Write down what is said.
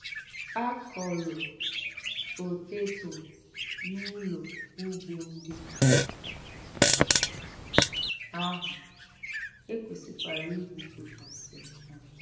À kọ̀rò̀ pótétò n’ùlò̀ ùgbò ǹdí àhụ̀, è kwesịkwàrā ìgwùpụ̀tàsị hà.